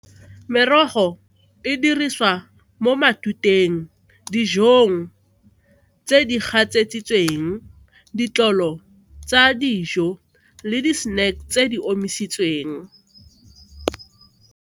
Merogo e dirisiwa mo matuteng, dijong tse di gatseditsweng, ditlolo tsa dijo le di-snack tse di omisitsweng.